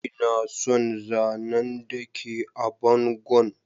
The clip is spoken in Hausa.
Ina son zanan da ke a bangon.